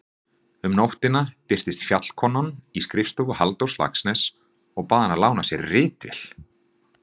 Um nóttina birtist Fjallkonan í skrifstofu Halldórs Laxness og bað hann að lána sér ritvél.